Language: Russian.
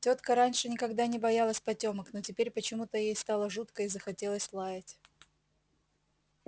тётка раньше никогда не боялась потёмок но теперь почему-то ей стало жутко и захотелось лаять